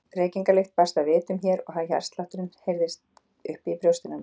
Reykingalykt barst að vitum mér og hjartslátturinn keyrðist upp í brjóstinu á mér.